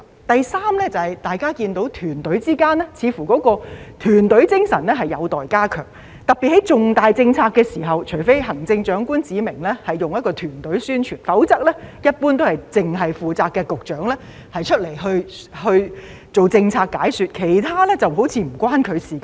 第三，大家都看到政府問責團隊之間的團隊精神似乎有待加強，特別是在推行重大政策的時候，除非行政長官指明進行團隊宣傳，否則一般來說，只有負責該項政策的局長出來做政策解說，其他局長則好像抱着與他無關的態度一般。